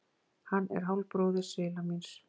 Hann er hálfbróðir svila míns.